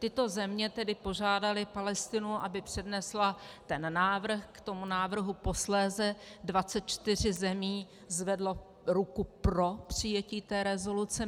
Tyto země tedy požádaly Palestinu, aby přednesla ten návrh, k tomu návrhu posléze 24 zemí zvedlo ruku pro přijetí té rezoluce.